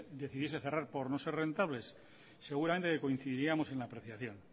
decisión decidiese cerrar por no ser rentables seguramente que coincidiríamos en la apreciación